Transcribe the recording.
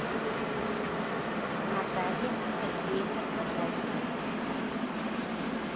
наталье сергеевне кондратьевой